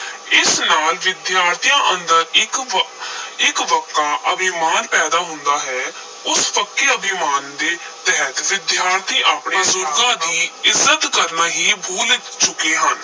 ਇਸ ਨਾਲ ਵਿਦਿਆਰਥੀਆਂ ਅੰਦਰ ਇਕ ਵ ਇੱਕ ਵਕਾ ਅਭਿਮਾਨ ਪੈਦਾ ਹੁੰਦਾ ਹੈ, ਉਸ ਫੱਕੇ ਅਭਿਮਾਨ ਦੇ ਤਹਿਤ ਵਿਦਿਆਰਥੀ ਆਪਣੇ ਬਜ਼ੁਰਗਾਂ ਦੀ ਇੱਜ਼ਤ ਕਰਨਾ ਹੀ ਭੁੱਲ ਚੁੱਕੇ ਹਨ।